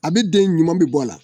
A bɛ den ɲuman bɛ bɔ a la